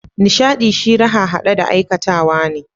Nishadi shi raha hade da aikatawa ne.